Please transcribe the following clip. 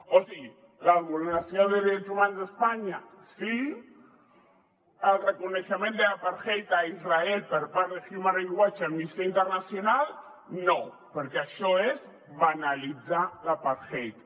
o sigui la vulneració de drets humans a espanya sí el reconeixement de l’apartheid a israel per part de human rights watch i amnistia internacional no perquè això és banalitzar l’apartheid